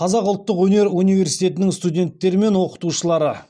қазақ ұлттық өнер университетінің студенттері мен оқытушылары